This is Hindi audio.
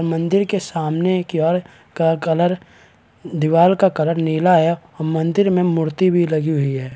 मंदिर के सामने की ओर का कलर दीवार का कलर निला है और मंदिर में मूर्ति भी लगी हुई है।